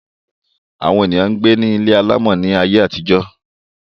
Àwọn èèyàn gbé ní ilé alàmọ̀ ní ayé àtijó